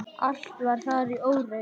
Allt var þar í óreiðu.